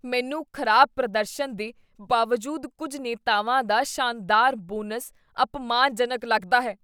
ਮੈਨੂੰ ਖ਼ਰਾਬ ਪ੍ਰਦਰਸ਼ਨ ਦੇ ਬਾਵਜੂਦ ਕੁੱਝ ਨੇਤਾਵਾਂ ਦਾ ਸ਼ਾਨਦਾਰ ਬੋਨਸ ਅਪਮਾਨਜਨਕ ਲੱਗਦਾ ਹੈ।